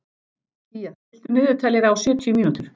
Kía, stilltu niðurteljara á sjötíu mínútur.